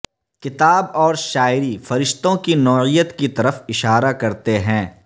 کتاب اور شاعری فرشتوں کی نوعیت کی طرف اشارہ کرتے ہیں